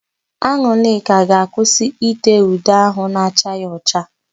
An̄ụlịka ga-akwụsị íté ude áhụ̀ na-acha ya ọcha.